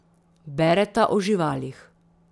Bereta o živalih.